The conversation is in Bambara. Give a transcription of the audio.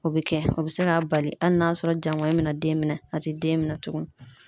O be kɛ ,o be se ka bali hali n'a sɔrɔ jaŋɔɲi be na den minɛ a te den minɛ tukun.